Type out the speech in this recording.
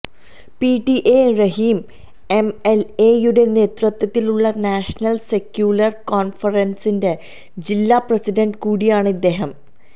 P T A Rahim M L എയുടെ നേതൃത്വത്തിലുള്ള national secular കോൺഫറൻസിന്റെ ജില്ലാ പ്രസിഡന്റ് കൂടിയാണ് ഇദ്ദേഹം